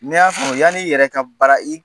Ne y'a yani i yɛrɛ ka bara i